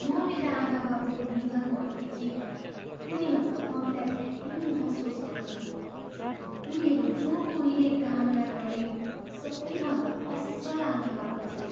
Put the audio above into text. म मेरा आमाबाबुको निधन भएदेखि उनीहरूको कमीलाई धेरै महसुस गर्छु। उनीहरू जो कोहीले कामना गर्ने सबैभन्दा असल आमाबाबु थिए।